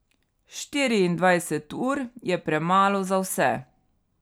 Štiriindvajset ur je premalo za vse.